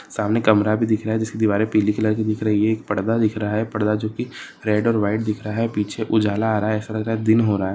सामने कमरा भी दिख रहा है जिसकी दीवारे पिली कलर कि दिख रही है एक पर्दा दिख रहा है पर्दा जो कि रेड और व्हाइट दिख रहा है पीछे उजाला आ रहा है ऐसा लग रहा है दिन हो रहा है।